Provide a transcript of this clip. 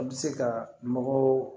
An bɛ se ka mɔgɔw